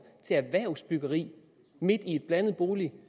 til erhvervsbyggeri midt i et blandet bolig